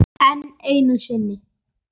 Enn einu sinni.